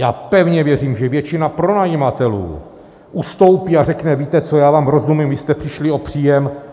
Já pevně věřím, že většina pronajímatelů ustoupí a řekne, víte co, já vám rozumím, vy jste přišli o příjem.